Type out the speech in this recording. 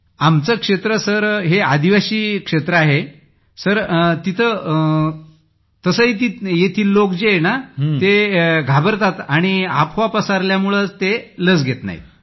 आपले क्षेत्र आदिवासीप्रदेश आहे सर तसेही येथील लोक घाबरतात आणि अफवा पसरल्यामुळे लोक ते घेत नाहीत लस